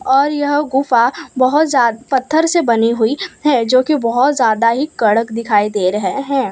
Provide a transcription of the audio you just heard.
और यह गुफा बहुत ज्यादा पत्थर से बनी हुई है जो कि बहुत ज्यादा ही कड़क दिखाई दे रहे हैं।